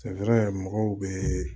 mɔgɔw bɛ